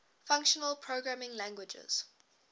functional programming languages